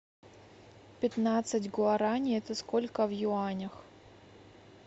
пятнадцать гуарани это сколько в юанях